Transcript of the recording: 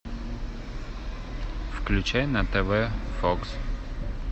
включай на тв фокс